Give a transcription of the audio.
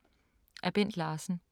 Af Bent Larsen